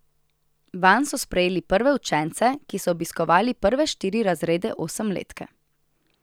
Vanj so sprejeli prve učence, ki so obiskovali prve štiri razrede osemletke.